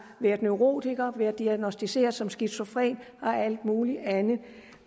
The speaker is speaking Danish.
været neurotiker været diagnosticeret som skizofren og alt muligt andet